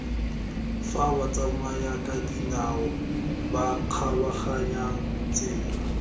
fa batsamayakadinao ba kgabaganyang tsela